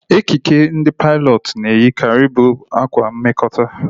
Ekike ndị pailọtụ na eyi karị bụ ákwá mmekota